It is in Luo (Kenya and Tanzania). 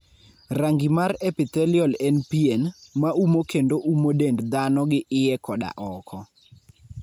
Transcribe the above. Rangi mar epithelial en pien, ma umo kendo umo dend dhano gi iye koda oko.